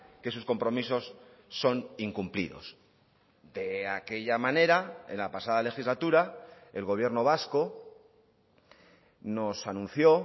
que sus compromisos son incumplidos de aquella manera en la pasada legislatura el gobierno vasco nos anunció